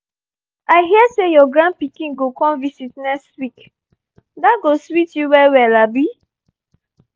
i hear say your grand pikin go come visit next week — that go sweet you well well abi?